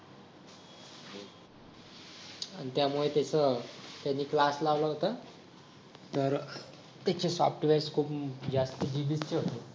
आणि त्यामुळे त्याचं त्याने क्लास लावला होता तर त्याचे सॉफ्टवेअर्स खूप जास्त GB चे होते